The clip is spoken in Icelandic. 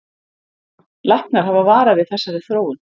Læknar hafa varað við þessari þróun